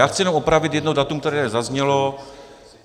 Já chci jenom opravit jedno datum, které zaznělo.